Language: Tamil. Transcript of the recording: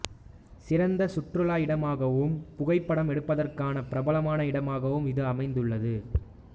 சிறந்த சுற்றுலா இடமாகவும் புகைப்படம் எடுப்பதற்கான பிரபலமான இடமாகவும் இது அமைந்துள்ளது